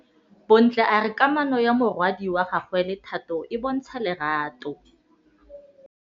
Bontle a re kamanô ya morwadi wa gagwe le Thato e bontsha lerato.